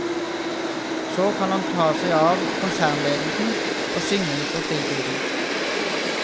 Så kan han ta seg av konsernledelsen og synge litt på fritiden.